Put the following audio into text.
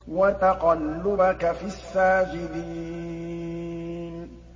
وَتَقَلُّبَكَ فِي السَّاجِدِينَ